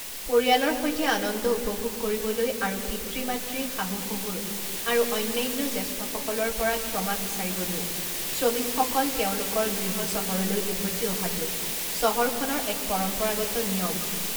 পৰিয়ালৰ সৈতে আনন্দ উপভোগ কৰিবলৈ আৰু পিতৃ মাতৃ শাহু শহুৰ আৰু অন্যান্য জ্যেষ্ঠসকলৰ পৰা ক্ষমা বিচাৰিবলৈ শ্ৰমিকসকল তেওঁলোকৰ গৃহচহৰলৈ উভতি অহাটো চহৰখনৰ এক পৰম্পৰাগত নিয়ম।